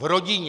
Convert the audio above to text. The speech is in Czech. V rodině!